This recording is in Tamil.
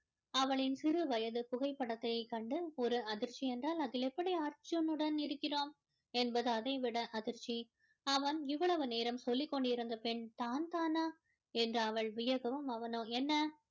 அவளின் சிறு வயது புகைப்படத்தை கண்டு ஒரு அதிர்ச்சி என்றால் அதில் எப்படி அர்ஜுன் உடன் இருக்கிறோம் என்பது அதைவிட அதிர்ச்சி அவன் இவ்வளவு நேரம் சொல்லிக் கொண்டுருந்த பெண் தான் தானா என்று அவள் வியக்கவும் அவனோ என்ன